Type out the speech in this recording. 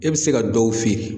E bɛ se ka dɔw feere.